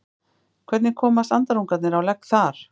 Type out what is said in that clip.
Hvernig komast andarungarnir á legg þar?